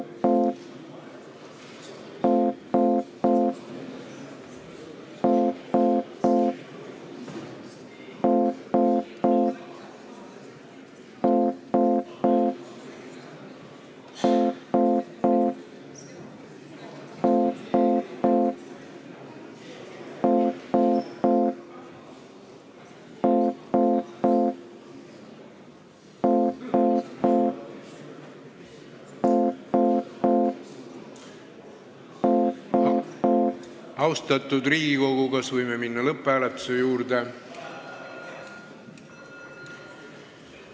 Austatud Riigikogu, kas võime minna lõpphääletuse juurde?